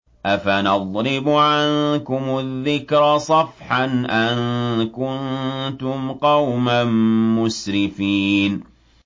أَفَنَضْرِبُ عَنكُمُ الذِّكْرَ صَفْحًا أَن كُنتُمْ قَوْمًا مُّسْرِفِينَ